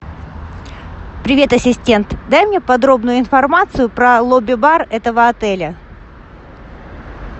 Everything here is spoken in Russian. привет ассистент дай мне подробную информацию про лобби бар этого отеля